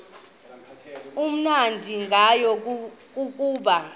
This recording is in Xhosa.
amnandi ngayo kukuba